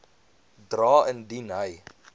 dra indien hy